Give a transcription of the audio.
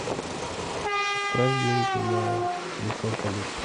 отправь деньги на телефон коллеги